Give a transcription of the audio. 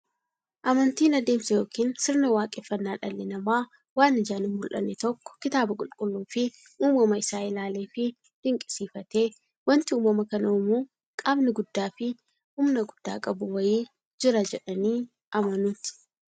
Amantiin adeemsa yookiin sirna waaqeffannaa dhalli namaa waan ijaan hinmullanne tokko kitaaba qulqulluufi uumama isaa isaa ilaaleefi dinqisiifatee, wanti uumama kana uumu qaamni guddaafi humna guddaa qabu wa'ii jira jedhanii amanuuti.